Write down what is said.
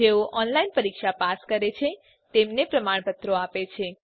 જેઓ ઓનલાઈન પરીક્ષા પાસ કરે છે તેમને પ્રમાણપત્રો આપે છે